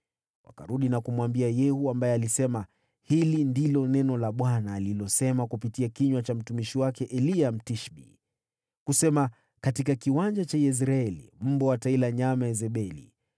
Wakarudi na kumwambia Yehu, ambaye alisema, “Hili ndilo neno la Bwana alilosema kupitia kinywa cha mtumishi wake Eliya Mtishbi, kwamba: Katika kiwanja cha Yezreeli, mbwa wataikula nyama ya Yezebeli.